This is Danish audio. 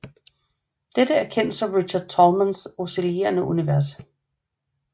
Dette er kendt som Richard Tolmans oscillerende univers